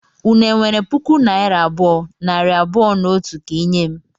Unu enwere puku naira abụọ, nari abụọ na otu ka I nye m?